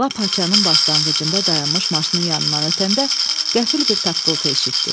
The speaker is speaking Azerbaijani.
Lap haçanın başlanğıcında dayanmış maşının yanından ötəndə qəfil bir taqqıltı eşitdi.